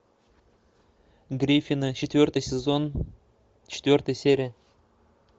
гриффины четвертый сезон четвертая серия